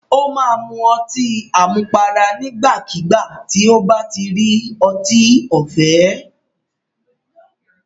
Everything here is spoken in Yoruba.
Ó máa mu ọtí àmupara nígbàkígbà tí ó bá ti rí ọtí ọ̀fẹ́.